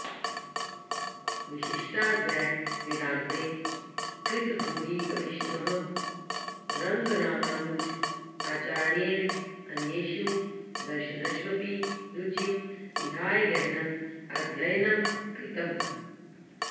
विशिष्टाद्वैतवेदान्ते कृतभूरिपरिश्रमः रङ्गरामानुजाचार्येण अन्येषु दर्शनष्वपि रुचिं विधाय गहनं अध्ययनं कृतम्